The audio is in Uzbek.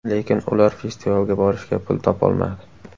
Lekin ular festivalga borishga pul topolmadi.